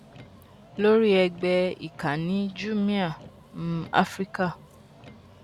lórí ẹgbẹ ìkànnì jumia africa